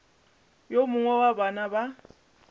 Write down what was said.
yo mongwe wa bana ba